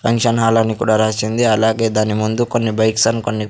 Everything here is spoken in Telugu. ఫంక్షన్ హాల్ అని కూడా రాసింది అలాగే దాని ముందు కొన్ని బైక్స్ ఆండ్ కొ--.